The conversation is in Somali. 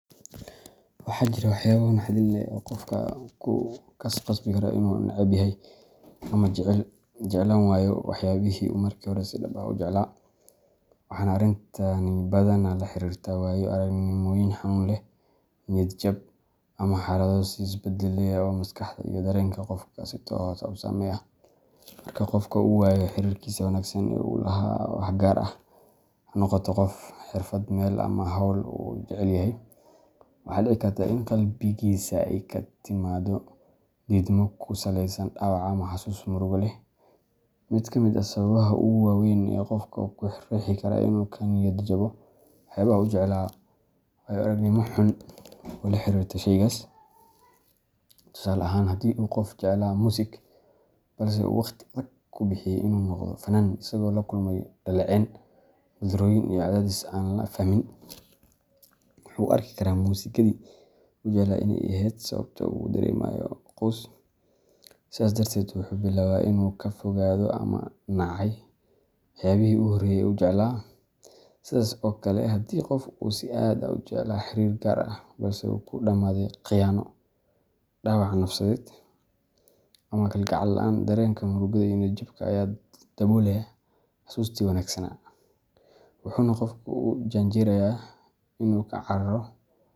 Waxaa jira waxyaabo naxdin leh oo qofka ku khasbi kara inuu neceb yahay ama jeclaan waayo waxyaabihii uu markii hore si dhab ah u jeclaa, waxaana arrintani badanaa la xiriirtaa waayo-aragnimooyin xanuun leh, niyad jab, ama xaalado is-bedbeddelaya oo maskaxda iyo dareenka qofka si toos ah u saameeya. Marka qof uu waayo xiriirkiisii wanaagsan ee uu la lahaa wax gaar ah – ha noqoto qof, xirfad, meel, ama hawl uu jecel yahay – waxaa dhici karta in qalbigiisa ay ka timaaddo diidmo ku saleysan dhaawac ama xasuus murugo leh. Mid ka mid ah sababaha ugu waa weyn ee qofka ku riixi kara inuu ka niyad jabo waxyaabaha uu jeclaa waa waayo-aragnimo xun oo la xiriirta shaygaas. Tusaale ahaan, haddii qof uu jeclaa muusik, balse uu waqti adag ku bixiyay inuu noqdo fannaan isagoo la kulmay dhaleecayn, guuldarrooyin iyo cadaadis aan la fahmin, wuxuu u arki karaa muusikadii uu jeclaa inay ahayd sababta uu u dareemayo quus. Sidaas darteed, wuxuu bilaabaa inuu ka fogaado ama nacay waxyaabihii uu horey u jeclaa. Sidaas oo kale, haddii qof uu si aad ah u jeclaa xiriir gaar ah balse uu ku dhammaaday khiyaano, dhaawac nafsadeed, ama kalgacal la’aan, dareenka murugada iyo niyad-jabka ayaa daboolaya xasuustii wanaagsanaa, wuxuuna qofku u janjeeraa inuu ka cararo.